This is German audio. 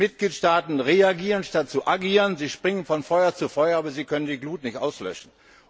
Die Mitgliedstaaten reagieren anstatt zu agieren, sie springen von Feuer zu Feuer, aber sie können die Glut nicht löschen.